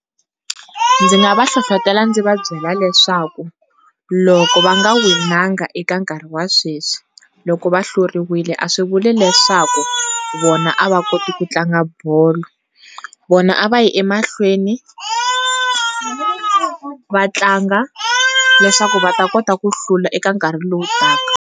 Ndzi nga va hlohletela ndzi va byela leswaku loko va nga winanga eka nkarhi wa sweswi loko va hluriwile a swi vuli leswaku vona a va koti ku tlanga bolo, vona a va yi emahlweni, va tlanga, leswaku va ta kota ku hlula eka nkarhi lowu taka.